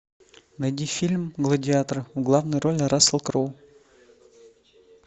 найди фильм гладиатор в главной роли рассел кроу